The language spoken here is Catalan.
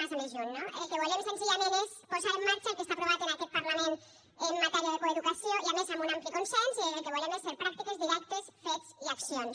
massa més lluny no el que volem senzillament és posar en marxa el que està aprovat en aquest parlament en matèria de coeducació i a més amb un ampli consens i el que volem és ser pràctiques directes fets i accions